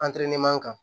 kan